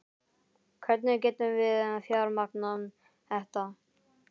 Hvernig getum við fjármagnað þetta?